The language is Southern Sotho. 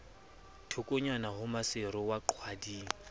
thokonyana ho maseru wa qwading